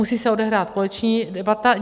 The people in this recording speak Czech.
Musí se odehrát koaliční debata.